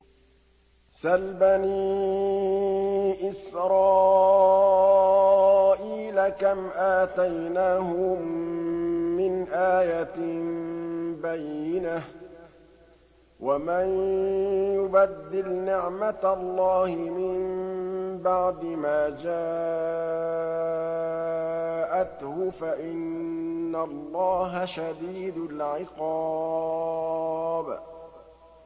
سَلْ بَنِي إِسْرَائِيلَ كَمْ آتَيْنَاهُم مِّنْ آيَةٍ بَيِّنَةٍ ۗ وَمَن يُبَدِّلْ نِعْمَةَ اللَّهِ مِن بَعْدِ مَا جَاءَتْهُ فَإِنَّ اللَّهَ شَدِيدُ الْعِقَابِ